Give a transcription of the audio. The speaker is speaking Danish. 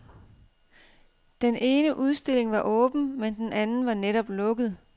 Den ene udstilling var åben, men den anden var netop lukket.